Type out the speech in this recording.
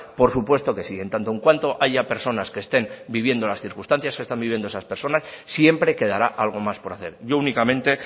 por supuesto que sí en tanto en cuanto haya personas que estén viviendo en las circunstancias que están vivienda esas personas siempre quedará algo más por hacer yo únicamente